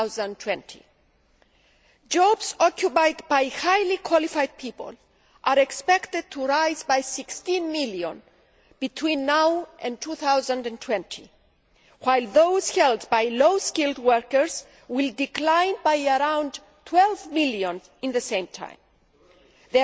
2020. Jobs occupied by highly qualified people are expected to rise by 16 million between now and 2020, while those held by low skilled workers will decline by around 12 million over the same period.